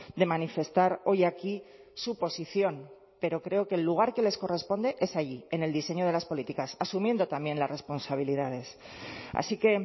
de manifestar hoy aquí su posición pero creo que el lugar que les corresponde es allí en el diseño de las políticas asumiendo también las responsabilidades así que